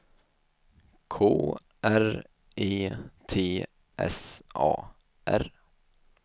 K R E T S A R